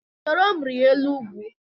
Soro m rịa elu ugwu!